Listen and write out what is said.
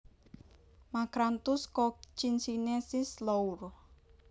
Macranthus cochinchinensis Lour